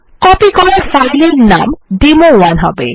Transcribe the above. copy করা file এর নাম ডেমো1 হবে